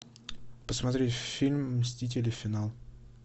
посмотреть фильм мстители финал